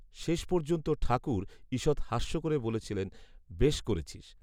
শেষ পর্যন্ত ঠাকুর, ঈষৎ হাস্য করে বলেছিলেন, বেশ করেছিস